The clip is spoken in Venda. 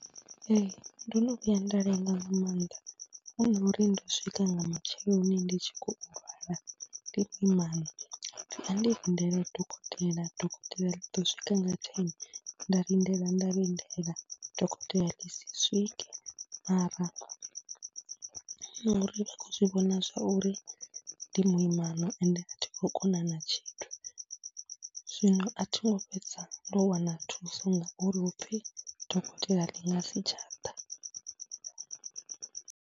Ee, ndo no vhuya nda lenga nga maanḓa hu no uri ndo swika nga matsheloni ndi tshi khou lwala, ndo ima, ja pfhi kha ndi lindele dokotela, dokotela ḽi ḓo swika nga thene. Nda lindela, nda lindela, dokotela ḽi si swike mara uri vha khou zwi vhona zwa uri ndi muimana ende a thi khou kona na tshithu, zwino a tho ngo fhedza ndo wana thuso ngauri hu pfhi dokotela ḽi nga si tsha ḓa.